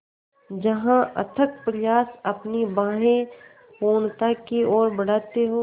जहाँ अथक प्रयास अपनी बाहें पूर्णता की ओर बढातें हो